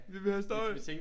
Vi vil have støj